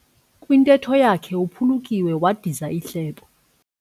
Kwintetho yakhe uphulukiwe wadiza ihlebo.